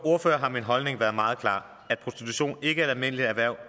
ordfører har min holdning været meget klar at prostitution ikke er et almindeligt erhverv